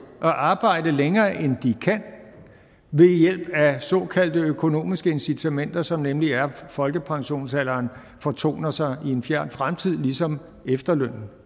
at arbejde længere end de kan ved hjælp af såkaldte økonomiske incitamenter som nemlig er at folkepensionsalderen fortoner sig i en fjern fremtid ligesom efterlønnen